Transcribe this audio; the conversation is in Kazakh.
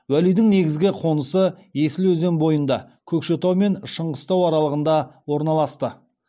уәлидің негізгі қонысы есіл өзен бойында көкшетау мен шыңғыстау аралығында орналасты